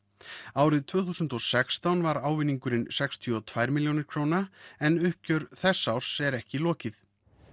árið tvö þúsund og sextán var ávinningurinn sextíu og tvær milljónir króna en uppgjör þess árs er ekki lokið